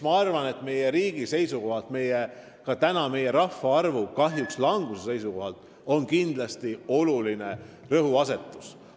Ma arvan, et see on meie riigi seisukohalt, sh meie rahvaarvu kahetsusväärse languse seisukohalt kindlasti oluline rõhuasetus.